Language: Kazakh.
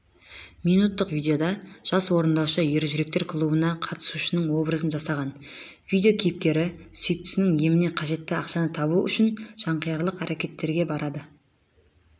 минуттық видеода жас орындаушы ержүректер клубына қатысушының образын жасаған видео кейіпкері сүйіктісінің еміне қажетті ақшаны табу үшін жанқиярлық әрекеттерге барады